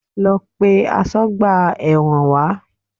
Lọ pe asọ́gbà ẹ̀wọ̀n wá!